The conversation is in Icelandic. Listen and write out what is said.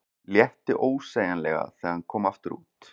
Létti ósegjanlega þegar hann kom aftur út.